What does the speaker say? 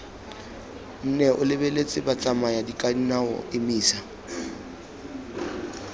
nne o lebeletse batsamayakadinao emisa